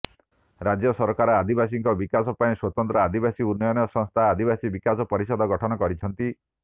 ରାଜ୍ୟ ସରକାର ଆଦିବାସୀଙ୍କ ବିକାଶ ପାଇଁ ସ୍ୱତନ୍ତ୍ର ଆଦିବାସୀ ଉନ୍ନୟନ ସଂସ୍ଥା ଆଦିବାସୀ ବିକାଶ ପରିଷଦ ଗଠନ କରିଛନ୍ତି